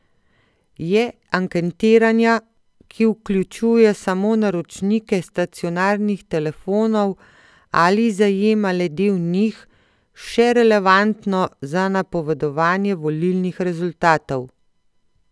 Je anketiranja, ki vključuje samo naročnike stacionarnih telefonov ali zajema le del njih, še relevantno za napovedovanje volilnih rezultatov?